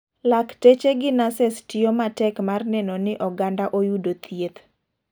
Lakteche gi nases tiyo matek mar neno ni oganda oyudo thieth.